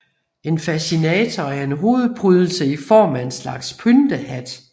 En fascinator er en hovedprydelse i form af en slags pyntehat